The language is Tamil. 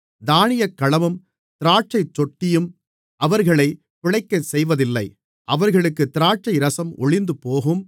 தானியக்களமும் திராட்சைத்தொட்டியும் அவர்களைப் பிழைக்கச்செய்வதில்லை அவர்களுக்குத் திராட்சைரசம் ஒழிந்துபோகும்